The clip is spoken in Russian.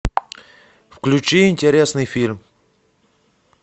включи интересный фильм